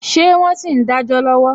Ṣé wọn sì ń dajọ lọwọ?